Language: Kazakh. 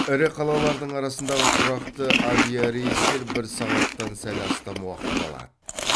ірі қалалардың арасындағы тұрақты авиарейстер бір сағаттан сәл астам уақытты алады